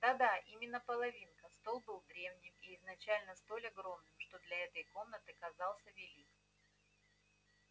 да-да именно половинка стол был древним и изначально столь огромным что для этой комнаты казался велик